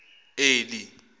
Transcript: eli